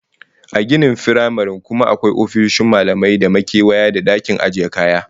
A ginin firamaren kuma akwai ofisoshin malamai da makewayi da dakin ajiye kaya